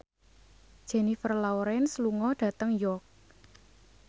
Jennifer Lawrence lunga dhateng York